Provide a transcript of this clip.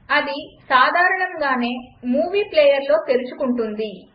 అది సాధారణంగానే మూవీ ప్లేయర్లో తెరుచుకుంటుంది